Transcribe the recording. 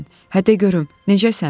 Hə də görüm, necəsən?